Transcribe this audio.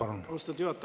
Austatud juhataja!